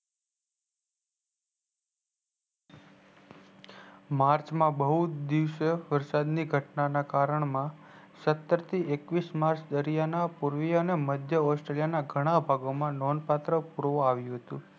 march માં બહુ દિવસે વરસાદીય ઘટનાના કારને સ્તર થી એકવીસ march દરિયાના મધ્ય australia નોન પાત્ર પુર આવ્યું હતું